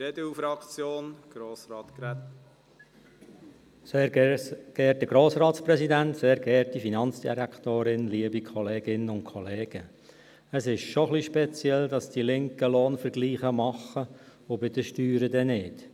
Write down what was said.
Es ist schon ein wenig speziell, dass die Linken bei den Löhnen Vergleiche machen und bei den Steuern dann nicht.